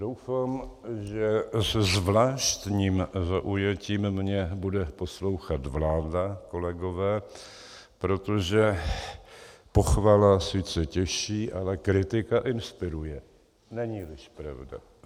Doufám, že se zvláštním zaujetím mě bude poslouchat vláda, kolegové, protože pochvala sice těší, ale kritika inspiruje, není-liž pravda?